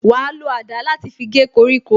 Wa lo àdá láti fi gé koríko